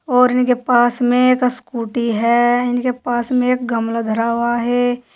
और इनके पास में एक स्कूटी है। इनके पास में एक गमला धरा हुआ है।